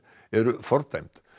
eru fordæmd